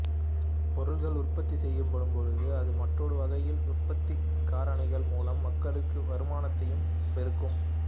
பொருள்கள் உற்பத்தி செய்யப்படும் பொழுது அது மற்றொரு வகையில் உற்பத்திக் காரணிகள் மூலம் மக்களுக்கு வருமானத்தையும் பெருக்கும்